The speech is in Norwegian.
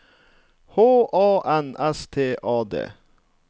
H A N S T A D